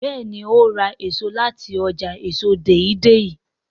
béèni o rà èso láti ọjà èso Deidei.